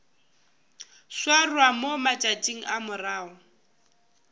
swarwa mo matšatšing a morago